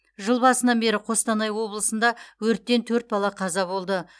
жыл басынан бері қостанай облысында өрттен төрт бала қаза болды